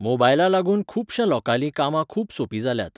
मोबायला लागून खुबशा लोकांलीं कामां खूब सोपी जाल्यात.